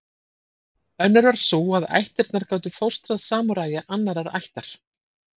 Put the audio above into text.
Önnur var sú að ættirnar gátu fóstrað samúræja annarrar ættar.